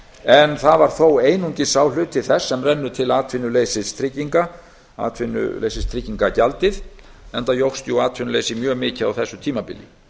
en það var þó einungis sá hluti þess sem rennur til atvinnuleysistrygginga atvinnuleysistryggingagjaldið enda jókst atvinnuleysi mjög mikið á þessu tímabili